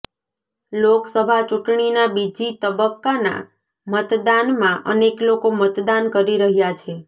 લોકસભા ચૂંટણીના બીજી તબક્કાના મતદાનમાં અનેક લોકો મતદાન કરી રહ્યા છે